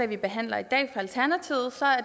vi behandler i dag at